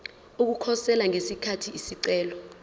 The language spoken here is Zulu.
ukukhosela ngesikhathi isicelo